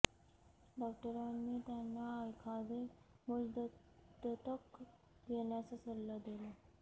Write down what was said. डॉक्टरांनी त्यांना एखादे मूल दत्तक घेण्याचा सल्ला दिला